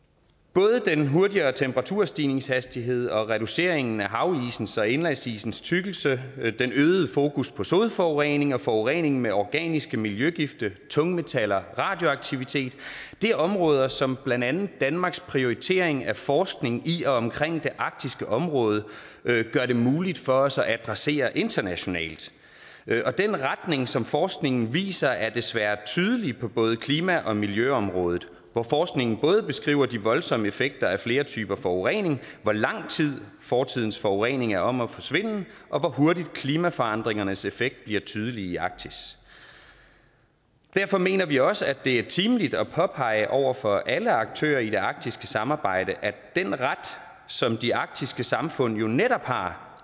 både den hurtigere temperaturstigningshastighed og reduceringen af havisens og indlandsisens tykkelse den øgede fokus på sodforurening og forureningen med organiske miljøgifte tungmetaller og radioaktivitet er områder som blandt andet danmarks prioritering af forskning i og omkring det arktiske område gør det muligt for os at adressere internationalt og den retning som forskningen viser er desværre tydelig på både klima og miljøområdet hvor forskningen både beskriver de voldsomme effekter af flere typer forurening hvor lang tid fortidens forurening er om at forsvinde og hvor hurtigt klimaforandringernes effekt bliver tydelig i arktis derfor mener vi også at det er betimeligt at påpege over for alle aktører i det arktiske samarbejde at den ret som de arktiske samfund jo netop har